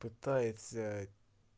пытается